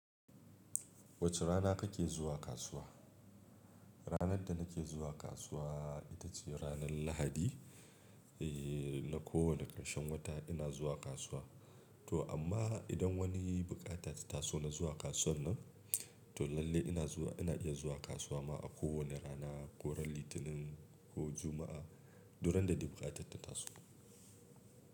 Wace rana kake zuwa kasuwa. Ranar da nake zuwa kasuwa ita ce ranar Lahadi, ee na kowane ƙarshen wata ina zuwa kasuwa. To amma idan wani buƙata ta taso na zuwa kasuwar nan, to lalle ina zuwa ina iya zuwa kasuwa ma a kowane rana, ko ran Litinin ko Juma'a, duk randa dai buƙata ta taso.